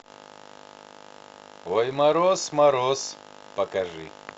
ой мороз мороз покажи